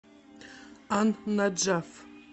ан наджаф